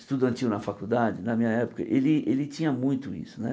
estudantil na faculdade, na minha época, ele ele tinha muito isso né.